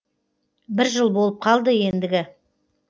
бір жыл болып қалды ендігі